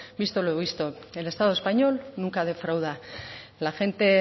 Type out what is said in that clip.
visto lo visto el estado español nunca defrauda la gente